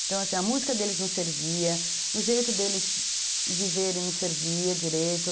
Então, assim, a música deles não servia, o jeito deles viverem não servia direito.